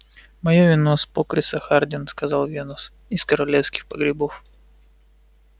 моё вино с покриса хардин сказал венус из королевских погребов